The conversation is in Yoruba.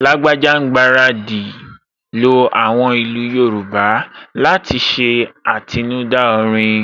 Lágbájá ń gbaradì lo àwọn ìlú Yorùbá láti ṣe àtinúdá orin